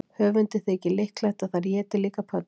Höfundi þykir líklegt að þær éti líka pöddur.